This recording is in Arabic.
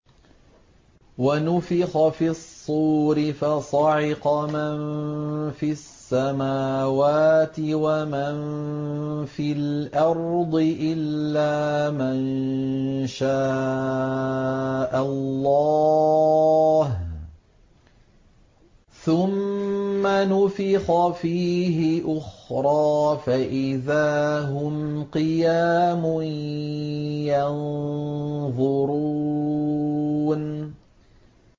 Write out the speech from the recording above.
وَنُفِخَ فِي الصُّورِ فَصَعِقَ مَن فِي السَّمَاوَاتِ وَمَن فِي الْأَرْضِ إِلَّا مَن شَاءَ اللَّهُ ۖ ثُمَّ نُفِخَ فِيهِ أُخْرَىٰ فَإِذَا هُمْ قِيَامٌ يَنظُرُونَ